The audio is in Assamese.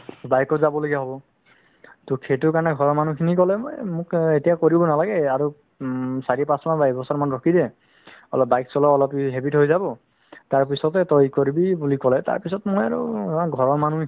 bike ত যাব লগিয়া হব ট সেইটোৰ কাৰণে ঘৰৰ মানুহখিনি কলে এ মো এতিয়া কৰিব নালাগে আৰু আ চাৰি পাচ মাহ বা এক বছৰ মান ৰখি দে অলপ bike চলোৱা habit হয় যাব তাৰ পিছতে তই ই কৰিবি বুলি কলে তাৰ পিছত মই আৰু ধৰা ঘৰৰ মানুহ